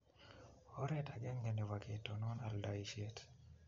oret agenge nebo ketonon aldaishet